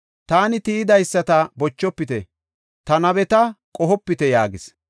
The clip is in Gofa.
“Taani tiyidaysata bochofite; ta nabeta qohopite” yaagis.